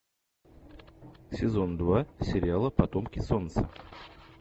сезон два сериала потомки солнца